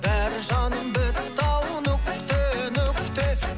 бәрі жаным бітті ау нүкте нүкте